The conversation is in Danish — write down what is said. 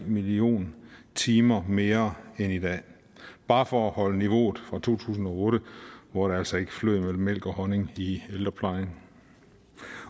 millioner timer mere end i dag bare for at holde niveauet fra to tusind og otte hvor det altså ikke flød med mælk og honning i ældreplejen